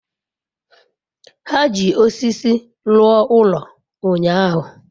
Ha ji osisi rụọ ụlọ ụnyahụ.